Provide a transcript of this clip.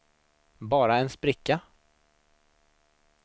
bara en spricka